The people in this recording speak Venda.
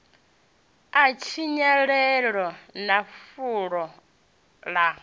ya tshinyalelo na fulo ḽa